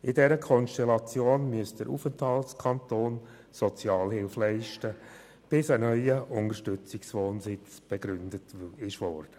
In dieser Konstellation müsste der Aufenthaltskanton Sozialhilfe leisten, bis ein neuer Unterstützungswohnsitz begründet worden ist.